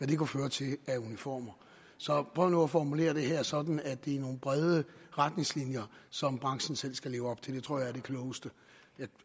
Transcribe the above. det kunne føre til af uniformer så prøv nu at formulere det her sådan at det er nogle brede retningslinjer som branchen selv skal leve op til det tror jeg er det klogeste